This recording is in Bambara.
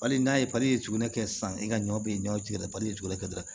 Bali n'a ye tugun ne kɛ sisan i ka ɲɔ bɛ ɲɔ da jugunin kɛ dɔrɔn